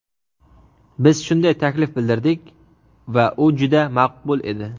Biz shunday taklif bildirdik va u juda maqbul edi.